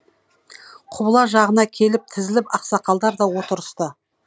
құбыла жағына келіп тізіліп ақсақалдар да отырысты